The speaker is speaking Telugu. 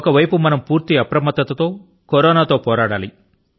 ఒక ప్రక్కన మనం పూర్తి అప్రమత్తత తో కరోనా తో పోరాడాలి